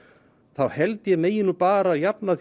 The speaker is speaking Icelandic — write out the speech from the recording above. þá held ég megi nú bara jafna